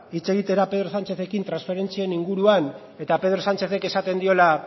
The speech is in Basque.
hitz egitera pedro sánchezekin transferentzien inguruan eta pedro sánchezek esaten diola